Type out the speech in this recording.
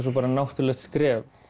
svo náttúrulegt skref